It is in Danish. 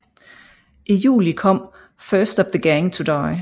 I juli kom First Of The Gang To Die